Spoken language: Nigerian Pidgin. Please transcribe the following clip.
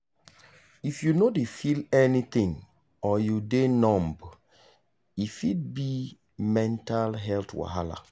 if you no dey feel anything or you dey numb e fit be mental health wahala.